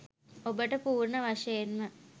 ඔබට පූර්ණ වශයෙන්ම